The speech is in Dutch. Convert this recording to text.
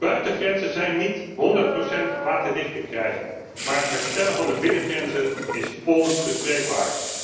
Buitengrenzen zijn niet honderd procent waterdicht te krijgen, maar het herstellen van de binnengrenzen is onbespreekbaar.